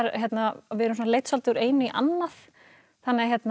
við erum leidd svolítið úr einu í annað